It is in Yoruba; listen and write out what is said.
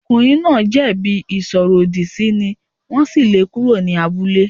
Ọkùnrin náà jẹ̀bi ìsọ̀rọ̀-ọ̀dì sí ni wọ́n sì lé e kúrò ní abúlé.